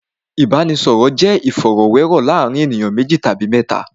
Ìbáraẹnisọ̀rọ̀ jẹ́ ìfọ̀rọ̀wérọ̀ láàárín ènìyàn méjì tàbí mẹ́ta.